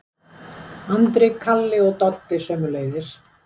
Andri, Kalli og Doddi sömuleiðis.